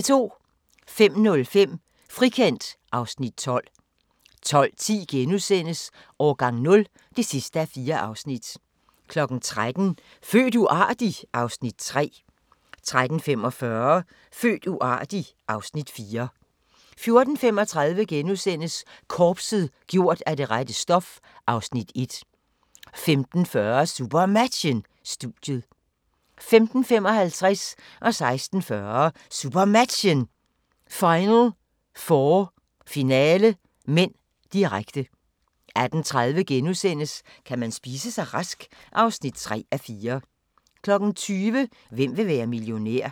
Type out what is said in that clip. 05:05: Frikendt (Afs. 12) 12:10: Årgang 0 (4:4)* 13:00: Født uartig? (Afs. 3) 13:45: Født uartig? (Afs. 4) 14:35: Korpset - gjort af det rette stof (Afs. 1)* 15:40: SuperMatchen: Studiet 15:55: SuperMatchen: Final 4 – finale (m), direkte 16:40: SuperMatchen: Final 4 – finale (m), direkte 18:30: Kan man spise sig rask? (3:4)* 20:00: Hvem vil være millionær?